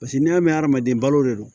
Paseke n'i y'a mɛn adamaden balo de don